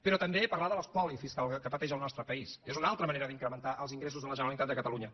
però també parlar de l’espoli fiscal que pateix el nostre país és una altra manera d’incrementar els ingressos de la generalitat de catalunya